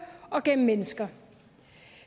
og gennem mennesker